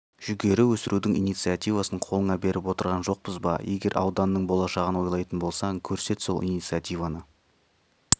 жүгері өсірудің инициативасын қолыңа беріп отырған жоқпыз ба егер ауданның болашағын ойлайтын болсаң көрсет сол инициативаны